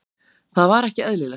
Það var ekki eðlilegt.